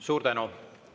Suur tänu!